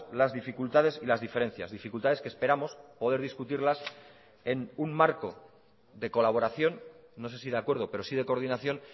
las dificultades y las diferencias dificultades que esperamos poder discutirlas en un marco de colaboración no se si de acuerdo pero sí de coordinación